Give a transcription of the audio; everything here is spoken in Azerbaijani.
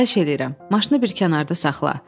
Xahiş eləyirəm, maşını bir kənarda saxla.